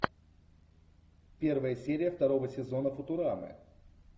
первая серия второго сезона футурамы